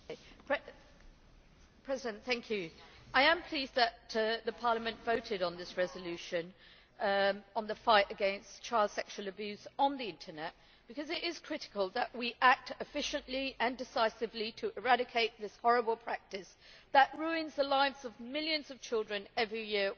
Mr President, I am pleased that Parliament voted on this resolution on the fight against child sexual abuse on the Internet, because it is critical that we act efficiently and decisively to eradicate this horrible practice that ruins the lives of millions of children worldwide every year.